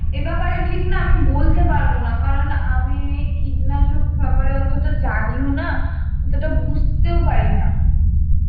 এ ব্যাপারে ঠিক না আমি বলতে পারব না কারণ আমি কীটনাশক ব্যাপারে আমি অতটা জানিও না অতটা বুঝতেও পারি না